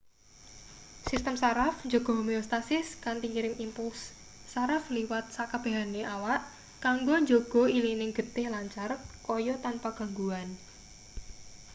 sistem saraf njaga homeostatis kanthi ngirim impulse saraf liwat sakabehane awak kanggo njaga ilining getih lancar kaya tanpa gangguan